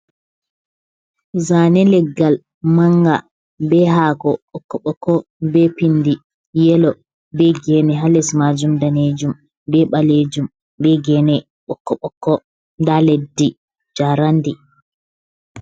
Zaane leggal manga, be hako ɓokko-ɓokko be pindi yelo, be gene ha les maajum daneejum be ɓaleejum. Be gene ɓokko-ɓokko, nda leddi jaarandi.